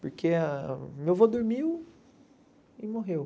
Porque meu avô dormiu e morreu.